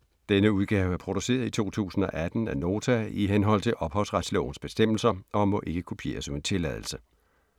Denne udgave er produceret i 2016 af Nota i henhold til ophavsretslovens bestemmelser og må ikke kopieres uden tilladelse.